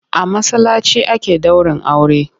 A masallaci ake ɗaurin aure.